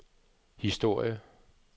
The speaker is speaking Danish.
historie